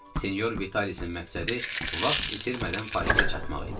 Sinyor Vitalisin məqsədi vaxt itirmədən Parisə çatmaq idi.